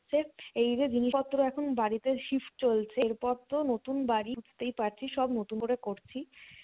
এই যে জিনিস পত্র এখন বাড়িতে shift চলছে এর পর তো নতুন বাড়ি বুঝতেই পারছিস সব নতুন করে করছি